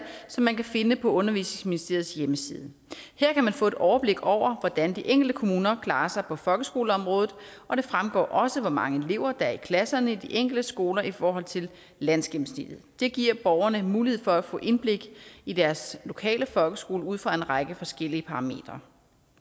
som man kan finde på undervisningsministeriets hjemmeside her kan man få et overblik over hvordan de enkelte kommuner klarer sig på folkeskoleområdet og det fremgår også hvor mange elever der er i klasserne i de enkelte skoler i forhold til landsgennemsnittet det giver borgerne mulighed for at få indblik i deres lokale folkeskole ud fra en række forskellige parametre